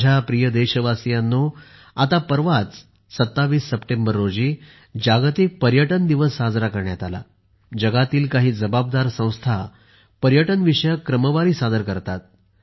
माझ्या प्रिय देशवासियांनो आता परवाच 27 सप्टेंबर रोजी जागतिक पर्यटन दिवस साजरा करण्यात आला आणि जगातील काही जबाबदार संस्था पर्यटन विषयक क्रमवारी सादर करतात